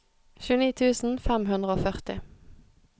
tjueni tusen fem hundre og førti